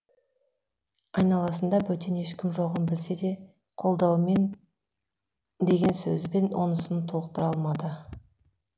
айналасында бөтен ешкім жоғын білсе де қолдауымен деген сөзбен онысын толықтыра алмады